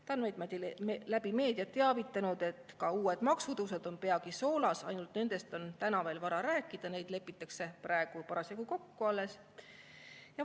Ta on meid läbi meedia teavitanud, et ka uued maksutõusud on peagi soolas, ainult et nendest on täna veel vara rääkida, neid lepitakse alles praegu kokku.